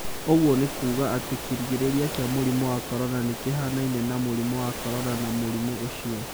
Ũguo nĩ kuuga atĩ kĩgirĩrĩria kĩa mũrimũ wa corona nĩ kĩhaanaine na mũrimũ wa corona na mũrimũ ũcio